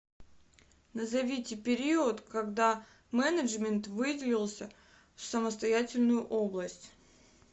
назовите период когда менеджмент выделился в самостоятельную область